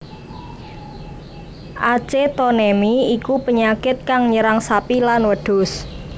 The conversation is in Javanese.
Acetonemi iku penyakit kang nyerang sapi lan wedhus